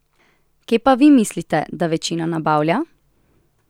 Kje pa vi mislite, da večina nabavlja?